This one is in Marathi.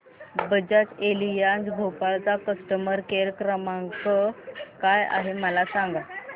बजाज एलियांज भोपाळ चा कस्टमर केअर क्रमांक काय आहे मला सांगा